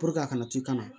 a kana to kana